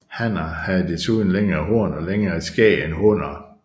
Hanner har desuden længere horn og længere skæg end hunner